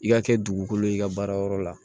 I ka kɛ dugukolo ye i ka baara yɔrɔ la